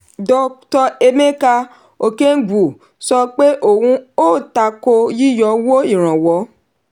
dr. emeka okengwu sọ pé òun o tako yíyọ owó ìrànwọ́.